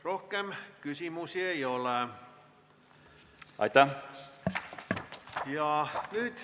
Rohkem küsimusi ei ole.